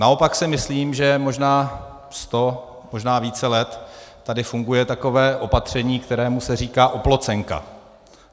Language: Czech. Naopak si myslím, že možná sto, možná více let tady funguje takové opatření, kterému se říká oplocenka.